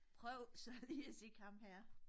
Prøv så lige at kigge ham her